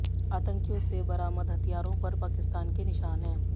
आतंकियों से बरामद हथियारों पर पाकिस्तान के निशान हैं